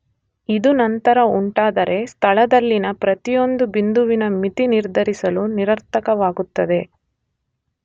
ಇದು ನಂತರ ಉಂಟಾದರೆ ಸ್ಥಳದಲ್ಲಿನ ಪ್ರತಿಯೊಂದು ಬಿಂದುವಿನ ಮಿತಿ ನಿರ್ಧರಿಸಲು ನಿರರ್ಥಕವಾಗುತ್ತದೆ.